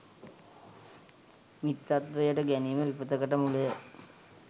මිත්‍රත්වයට ගැනීම විපතකට මුලය.